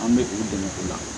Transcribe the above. An bɛ u dɛmɛ o la